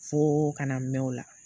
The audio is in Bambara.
Fo kana mɛn o la